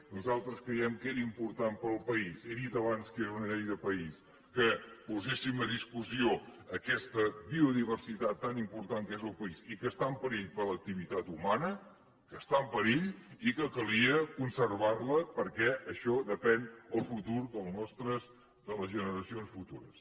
nosaltres creiem que era important per al país he dit abans que era una llei de país que poséssim a discussió aquesta biodiversitat tan important que és el país i que està en perill per l’activitat humana que està en perill i que calia conservar la perquè d’això depèn el futur de les generacions futures